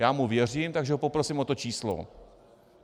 Já mu věřím, takže ho poprosím o to číslo.